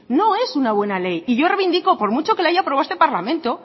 no es una buena ley y yo revindico por mucho que lo haya aprobado este parlamento